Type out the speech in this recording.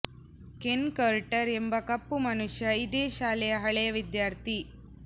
Ken Carter ಎಂಬ ಕಪ್ಪು ಮನುಷ್ಯ ಇದೇ ಶಾಲೆಯ ಹಳೆಯ ವಿದ್ಯಾರ್ಥಿ